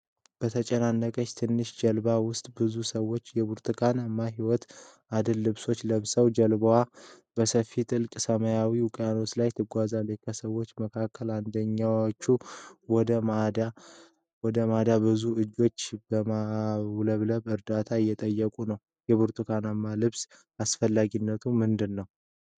የተጨናነቀች ትንሽ ጀልባ ውስጥ ብዙ ሰዎች የብርቱካን ህይወት አድን ልብሶችን ለብሰዋል። ጀልባዋ በሰፊና ጥልቅ ሰማያዊ ውቅያኖስ ላይ ትጓዛለች። ከሰዎች መካከል አንዳንዶቹ ወደ ማዳን ቡድን እጅ በማውለብለብ እርዳታ እየጠየቁ ነው። የብርቱካን ልብሶቹ አስፈላጊነት ምንድን ነው?